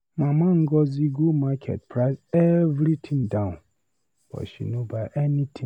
Mama Ngozi go market price every thing down, but she no buy anything.